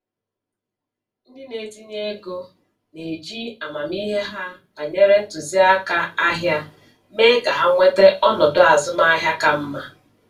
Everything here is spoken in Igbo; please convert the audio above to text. Ndị na-etinye ego na-eji amamihe ha banyere ntụziaka ahịa mee ka ha nweta ọnọdụ azụmaahịa ka mma.